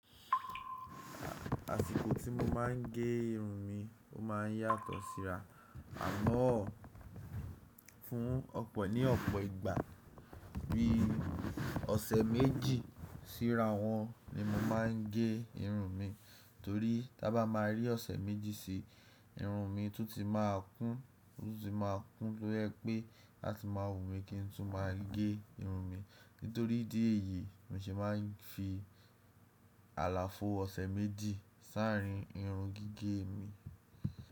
Àsìkò tí mo máà ń gé irun mi, ó máa ń yàtọ̀ síra. Àmaá, fún ọ̀pọ̀, ní ọ̀pọ̀ ìgbà bí i ọ̀sẹ̀ méjì síra wọn, ni mo máa ń gé irun mi, torí ta bá máa rí ọ̀sẹ̀ méjì si, irun mi tún ti máa kún, o tún ti máa kún, tó yẹ pé láti máa wù mí kí n tún máa gé irun mi. Nítorí ìdí èyí, ni mo se máa ń fi àlàfo ọ̀sẹ̀ méjì s’árín irun gígé mi.